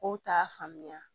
Kow t'a faamuya